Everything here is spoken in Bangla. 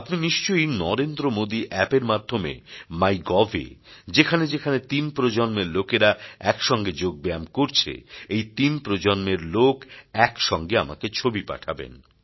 আপনি নিশ্চয়ই নরেন্দ্র মোদী অ্যাপ এর মাধ্যমে মাই গভ এ যেখানে যেখানে তিন প্রজন্মের লোকেরা একসঙ্গে যোগব্যায়াম করছে এই তিন প্রজন্মের লোক এক সঙ্গে আমাকে ছবি পাঠাবেন